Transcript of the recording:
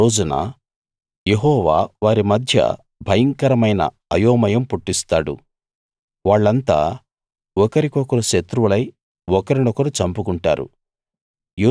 ఆ రోజున యెహోవా వారి మధ్య భయంకరమైన అయోమయం పుట్టిస్తాడు వాళ్ళంతా ఒకరికొకరు శత్రువులై ఒకరినొకరు చంపుకుంటారు